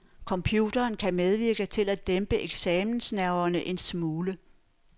Computeren kan medvirke til at dæmpe eksamensnerverne en smule.